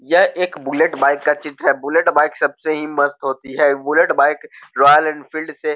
यह एक bullet bike का चित्र है बुलेट बाइक सबसे ही मस्त होती है बुलेट बाइक रॉयल एनफील्ड से --